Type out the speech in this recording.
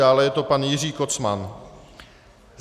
Dále je to pan Jiří Kocman.